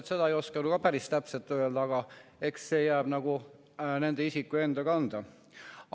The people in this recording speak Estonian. Ma seda ei oska päris täpselt öelda, eks see jääb nagu nende isikute enda teada.